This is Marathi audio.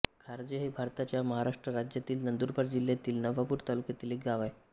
खारजे हे भारताच्या महाराष्ट्र राज्यातील नंदुरबार जिल्ह्यातील नवापूर तालुक्यातील एक गाव आहे